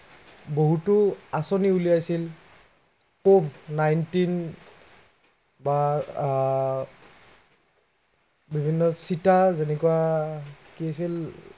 বহুতো আঁচনি উলিয়াইছিল। cove ninteen বা আহ বিভিন্ন চিটা বা যেনেকুৱা কি আছিল